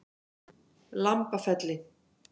Lambafelli